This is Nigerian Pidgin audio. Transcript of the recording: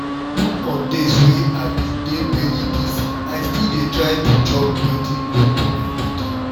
even on days wey i been dey very busy i still dey try to chop wetin good for my body